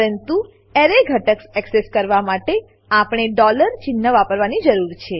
પરંતુ એરે ઘટક એક્સેસ કરવા માટે આપણને ચિન્હ વાપરવાની જરૂર છે